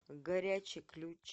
горячий ключ